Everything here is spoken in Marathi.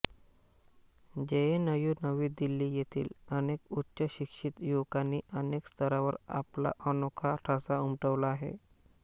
जेएनयु नवी दिल्ली येथील अनेक उच्च शिक्षित युवकांनी अनेक स्तरावर आपला अनोखा ठसा उमटवला आहे